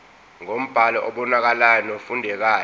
ngombhalo obonakalayo nofundekayo